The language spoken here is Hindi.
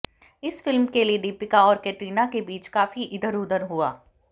इस फिल्म के लिए दीपिका और कैटरीना के बीच काफी इधर उधर हुआ